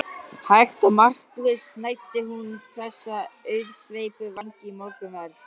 Hægt og markvisst snæddi hún þessa auðsveipu vængi í morgunverð.